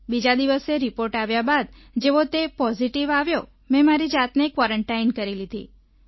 બીજા દિવસે રિપોર્ટ આવ્યા બાદ જેવો તે પોઝીટિવ આવ્યો મેં મારી જાતને ક્વારન્ટાઇન કરી લીધી